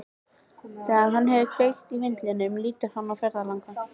Þegar hann hefur kveikt í vindlinum lítur hann á ferðalang.